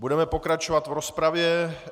Budeme pokračovat v rozpravě.